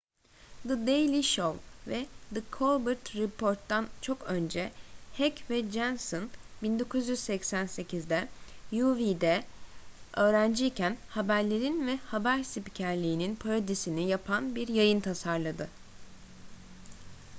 the daily show ve the colbert report'tan çok önce heck ve johnson 1988'de uw'de öğrenciyken haberlerin ve haber spikerliğinin parodisini yapan bir yayın tasarladı